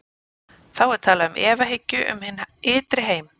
Þá er talað um efahyggju um hinn ytri heim.